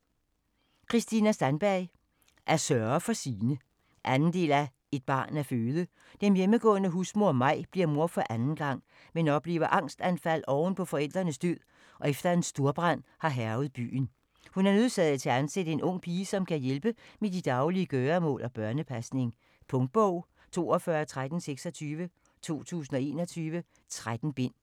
Sandberg, Kristina: At sørge for sine 2. del af Et barn at føde. Den hjemmegående husmor Maj bliver mor for anden gang, men oplever angstanfald oven på forældrenes død og efter at en storbrand har hærget i byen. Hun er nødsaget til at ansætte en ung pige, som kan hjælpe med at de daglige gøremål og børnepasning. Punktbog 421326 2021. 13 bind.